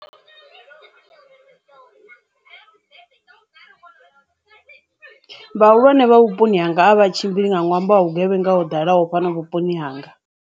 Vhahulwane vha vhuponi hanga a vhatshimbili nga ṅwambo wa vhugevhenga ho dalaho fhano vhuponi hanga.